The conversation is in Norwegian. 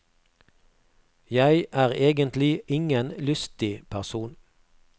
Jeg er egentlig ingen lystig person.